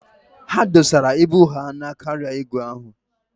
Ha dọsara ibu ha na kaarịa igwe ahụ.